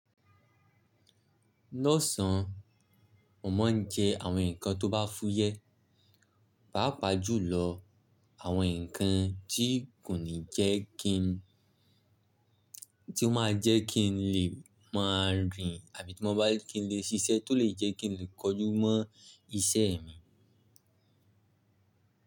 Lọ́sàn, mo máa ń jẹ àwọn nǹkan tó bá fúyẹ́, pàápàá jùlọ àwọn nǹkan tí kò ní jẹ́ kin tí ó máa jẹ́ kin lè máa rìn àbí tí mo bá je kí n lè ṣiṣẹ́ tó lè jẹ́ kí n lè kojú mọ́ iṣẹ́ mi.